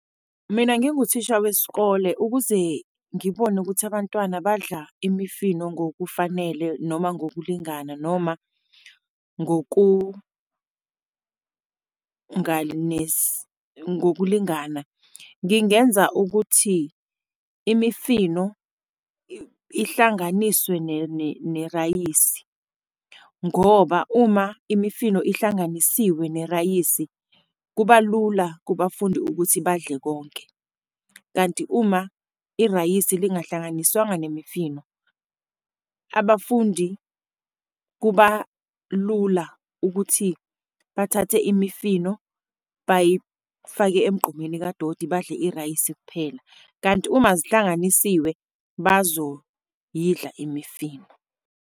Mina nginguthisha wesikole, ukuze ngibone ukuthi abantwana badla imifino ngokufanele noma ngokulingana noma ngokulingana, ngingenza ukuthi imifino ihlanganiswe nerayisi, ngoba uma imifino ihlanganisiwe nerayisi, kuba lula kubafundi ukuthi badle konke. Kanti uma irayisi lingahlanganiswanga nemifino, abafundi kuba lula ukuthi bathathe imifino bayifake emgqomeni kadoti, badle irayisi kuphela, kanti uma zihlanganisiwe, bazoyidla imifino.